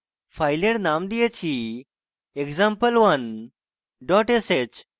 file named দিয়েছি example1 dot sh